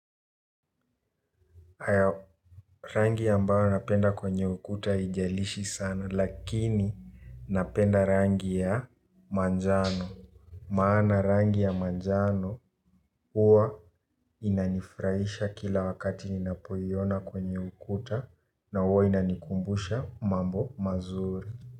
Rangi ambayo napenda kwenye ukuta haijalishi sana lakini napenda rangi ya manjano. Maana rangi ya manjano huwa inanifurahisha kila wakati ninapoiona kwenye ukuta na huwa inanikumbusha mambo mazuri.